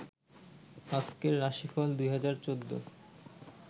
আজকের রাশিফল ২০১৪